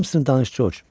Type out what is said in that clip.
Hamısını danış, Corc.